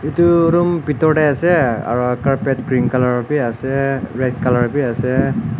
edu room bitor tae ase aro carpet green colour bi ase red colour biase.